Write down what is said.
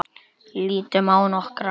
Lítum á nokkra.